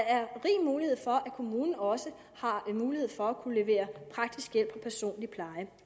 er rig mulighed for at kommunen også har mulighed for at kunne levere praktisk hjælp og personlig pleje